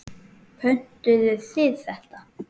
Pöntuðu þið þetta?